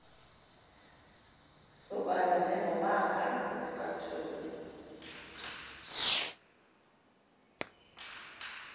sobala njengomaka wesicathulo